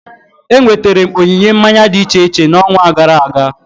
Enweterem onyinye mmanya dị iche iche na onwa gara aga